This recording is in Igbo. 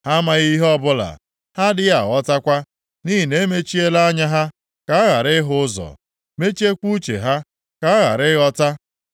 Ha amaghị ihe ọbụla; ha adịghị aghọtakwa, nʼihi na-emechiela anya ha ka ha ghara ịhụ ụzọ, mechiekwa uche ha, ka ha ghara ịghọta.